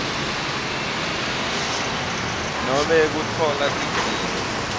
nobe kutfola tidzingo